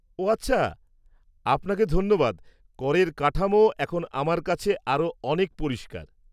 ও আচ্ছা। আপনাকে ধন্যবাদ, করের কাঠামো এখন আমার কাছে আরও অনেক পরিষ্কার।